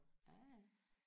ja ja